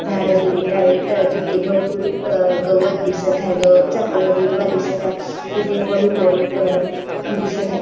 झाड दिलेलं आहे अ तर तिथे भरपूर अ गवत दिसत आहे गवत चा कलर हिरवा दिसत आहे तिथे हॉलीबॉल दिसत आहे.